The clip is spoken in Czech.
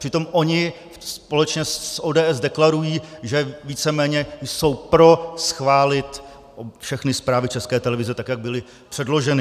Přitom oni společně s ODS deklarují, že víceméně jsou pro schválit všechny zprávy České televize tak, jak byly předloženy.